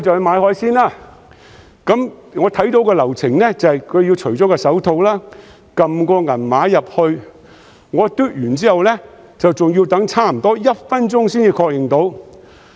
買海鮮期間，我看到流程是：商販要除下手套，輸入銀碼，我"嘟"完八達通卡後還要等差不多1分鐘才能確認付款。